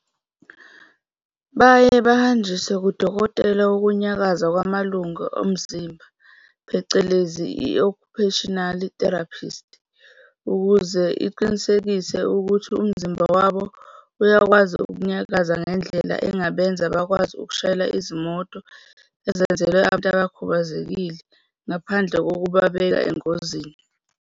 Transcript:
"Baye bahanjiswe kudokotela wokunyakaza kwamalungu omzimba, phecelezi i-occupational therapist, ukuze iqinisekise ukuthi umzimba wabo uyakwazi ukunyakaza ngendlela engabenza bakwazi ukushayela izimoto ezenzelwe abantu abakhubazekile ngaphandle kokubabeka engozini.